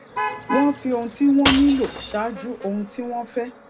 wón fi ohun tí wón nílò ṣáájú ohun tí wón fé